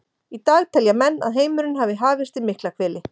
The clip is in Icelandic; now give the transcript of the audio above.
Í dag telja menn að heimurinn hafi hafist í Miklahvelli.